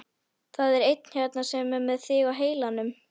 Það er einn hérna sem er með þig á heilanum.